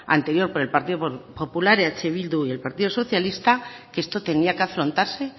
anterior por el partido popular eh bildu y el partido socialista que esto tenía que afrontarse